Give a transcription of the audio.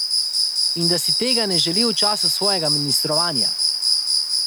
In da si tega ne želi v času svojega ministrovanja.